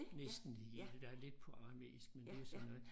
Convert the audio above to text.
Næsten det hele der er lidt på aramæisk men det er så noget